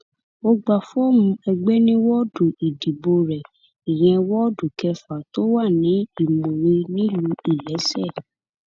ó gba fọọmù ẹgbẹ ní wọọdù ìdìbò rẹ ìyẹn woodu kẹfà tó wà ní more nílùú iléeṣẹ